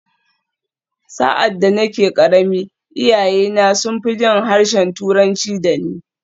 Sa’ad da nake ƙarami, iyayena sun fi jin harshen Turanci da ni.